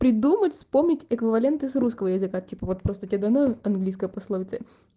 придумать вспомнить эквивалент из русского языка типа вот просто тебе дано английская пословица